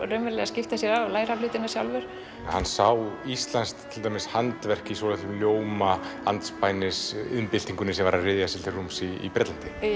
skipta sér af og læra hlutina sjálfur hann sá íslenskt handverk í svolitlum ljóma andspænis iðnbyltingunni sem var að ryðja sér til rúms í Bretlandi